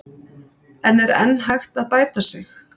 En er enn hægt að bæta sig?